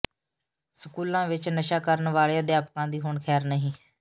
ਸਕੂਲਾਂ ਵਿਚ ਨਸ਼ਾ ਕਰਨ ਵਾਲੇ ਅਧਿਆਪਕਾਂ ਦੀ ਹੁਣ ਖ਼ੈਰ ਨਹੀਂ